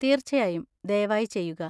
തീർച്ചയായും. ദയവായി ചെയ്യുക!